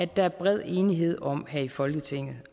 der er bred enighed om her i folketinget